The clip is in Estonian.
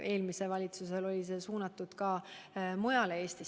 Eelmisel valitsusel oli see suunatud ka mujale Eestisse.